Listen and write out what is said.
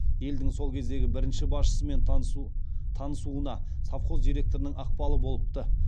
елдің сол кездегі бірінші басшысымен танысуына совхоз директорының ықпалы болыпты